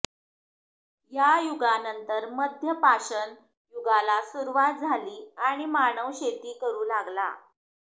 या युगानंतर मध्यपाषण युगाला सुरवात झाली आणि मानव शेती करू लागला